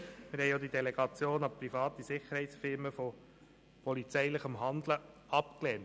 Wir haben auch die Delegation polizeilichen Handelns an private Sicherheitsfirmen abgelehnt.